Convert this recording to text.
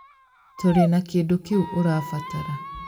Tũrĩ na kĩndũ kĩu ũrabatara